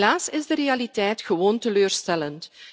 Helaas is de realiteit gewoon teleurstellend.